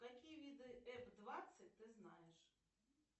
какие виды ф двадцать ты знаешь